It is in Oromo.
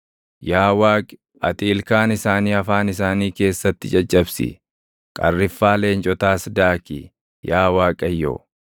Yaa Waaqi ati ilkaan isaanii afaan isaanii keessatti caccabsi; qarriffaa leencotaas daaki, yaa Waaqayyo!